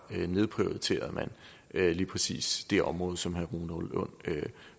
nedprioriterede lige præcis det område som herre rune lund